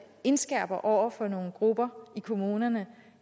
indskærper over for nogle grupper i kommunerne